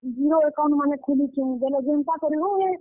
Zero account ମାନେ ଖୁଲୁଛୁଁ, ବେଲେ ଜେନ୍ତା କରି ହଉ ହେ।